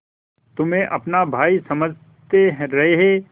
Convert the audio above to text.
तुम्हें अपना भाई समझते रहे